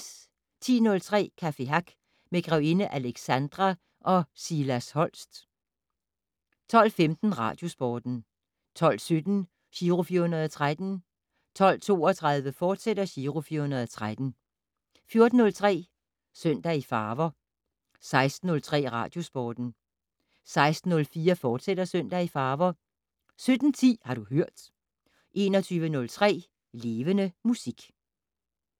10:03: Café Hack med grevinde Alexandra og Silas Holst 12:15: Radiosporten 12:17: Giro 413 12:32: Giro 413, fortsat 14:03: Søndag i farver 16:03: Radiosporten 16:04: Søndag i farver, fortsat 17:10: Har du hørt 21:03: Levende Musik